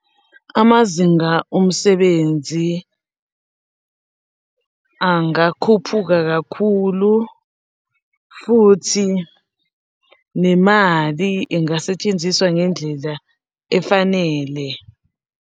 Amazinga omsebenzi angakhuphuka kakhulu futhi nemali ingasetshenziswa ngendlela efanele.